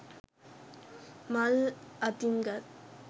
මල් අතින් ගත්